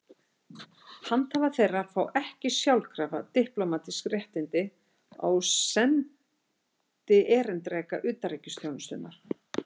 Handhafar þeirra fá ekki sjálfkrafa diplómatísk réttindi á við sendierindreka utanríkisþjónustunnar.